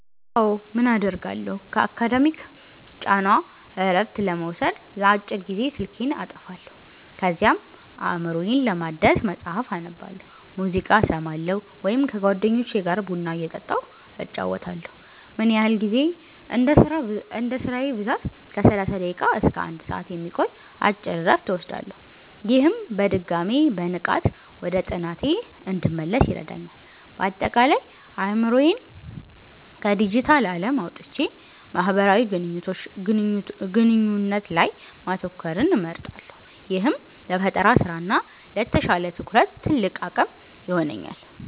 አዎ, ምን አደርጋለሁ? ከአካዳሚክ ጫና እረፍት ለመውሰድ ለአጭር ጊዜ ስልኬን አጠፋለሁ። ከዚያም አእምሮዬን ለማደስ መጽሐፍ አነባለሁ፣ ሙዚቃ እሰማለሁ ወይም ከጓደኞቼ ጋር ቡና እየጠጣሁ እጨዋወታለሁ። ምን ያህል ጊዜ? እንደ ስራዬ ብዛት ከ30 ደቂቃ እስከ 1 ሰዓት የሚቆይ አጭር እረፍት እወስዳለሁ። ይህም በድጋሚ በንቃት ወደ ጥናቴ እንድመለስ ይረዳኛል። ባጠቃላይ፦ አእምሮዬን ከዲጂታል ዓለም አውጥቼ ማህበራዊ ግንኙነት ላይ ማተኮርን እመርጣለሁ፤ ይህም ለፈጠራ ስራ እና ለተሻለ ትኩረት ትልቅ አቅም ይሆነኛል።